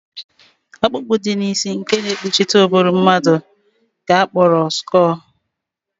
Ọkpụkpụ dị n'isi nke na-ekpuchite ụbụrụ mmadụ ka a kpọrọ skọọl